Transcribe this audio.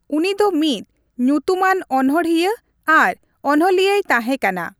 ᱩᱱᱤ ᱫᱚ ᱢᱤᱫ ᱧᱩᱛᱩᱢᱟᱱ ᱚᱱᱚᱬᱦᱤᱭᱟᱹ ᱟᱨ ᱚᱱᱞᱤᱭᱟᱹᱭ ᱛᱟᱸᱦᱮ ᱠᱟᱱᱟ ᱾